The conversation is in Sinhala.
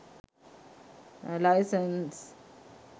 license